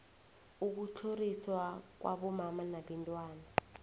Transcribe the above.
ukutlhoriswa kwabomma nabantwana